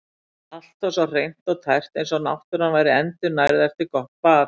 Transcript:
Allt var svo hreint og tært eins og náttúran væri endurnærð eftir gott bað.